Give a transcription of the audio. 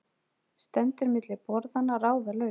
Stendur milli borðanna, ráðalaus.